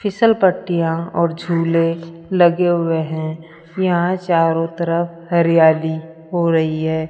फिसलपट्टियां और झूले लगे हुए हैं यहां चारों तरफ हरियाली हो रही है।